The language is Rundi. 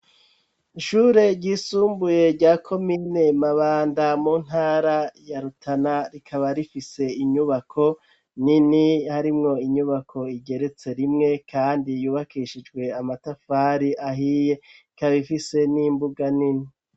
Ishure ryisumbuye rya komine mabanda mu ntara ya rutana rikaba rifise inyubako nini harimwo inyubako igeretse rimwe kandi yubakishijwe amatafari ahiye ikaba ifise n'imbuga nini.